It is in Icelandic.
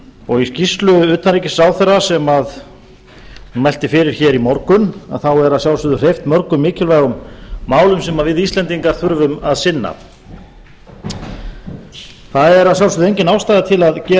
og í skýrslu utanríkisráðherra sem hún mælti fyrir í morgun er að sjálfsögðu hreyft mörgum mikilvægum málum sem við íslendingar þurfum að sinna það er að sjálfsögðu engan ástæða til að gera